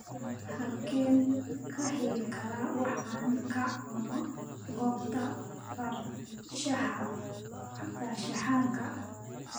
halkeen ka heli karaa wax aan ka cuno goobta farshaxanka